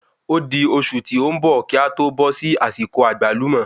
Ódi oṣù tí o n bọ̀ ki a tó bó sí àsìkò Àgbálùmó